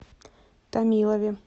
томилове